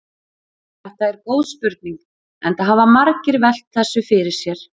Þetta er góð spurning enda hafa margir velt þessu fyrir sér.